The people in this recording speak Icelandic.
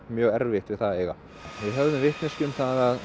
mjög erfitt við það að eiga við höfðum vitneskju um